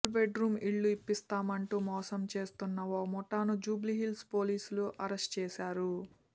double bedroom ఇళ్లు ఇప్పిస్తామంటూ మోసం చేస్తోన్న ఓ ముఠాను జూబ్లీహిల్స్ పోలీసులు అరెస్ట్ చేశారు